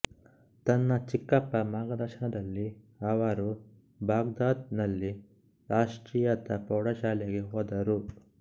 ತನ್ನ ಚಿಕ್ಕಪ್ಪ ಮಾರ್ಗದರ್ಶನದಲ್ಲಿ ಅವರು ಬಾಗ್ದಾದ್ ನಲ್ಲಿ ರಾಷ್ಟ್ರೀಯತಾ ಪ್ರೌಢಶಾಲೆಗೆ ಹೋದರು